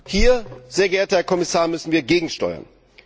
Hier, sehr geehrter Herr Kommissar, müssen wir gegensteuern.